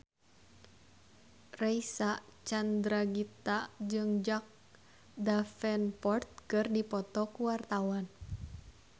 Reysa Chandragitta jeung Jack Davenport keur dipoto ku wartawan